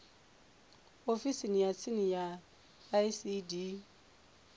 ofisini ya tsini ya icd